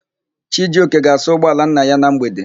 Chijioke ga-asa ụgbọala nna ya na mgbede.